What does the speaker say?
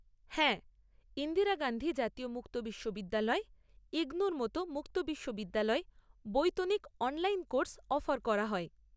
হ্যাঁ, ইন্দিরা গান্ধী জাতীয় মুক্ত বিশ্ববিদ্যালয়, ইগনওউ এর মতো মুক্ত বিশ্ববিদ্যালয়ে বৈতনিক অনলাইন কোর্স অফার করা হয়।